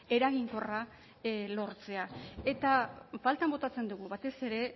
eraginkorra lortzea eta faltan botatzen dugu batez ere